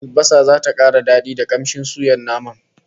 Albasa zata kara dadi da kamshin suyan naman